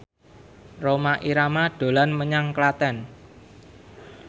Rhoma Irama dolan menyang Klaten